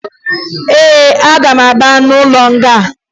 Ee, aga m aba n'ime ụlọ nga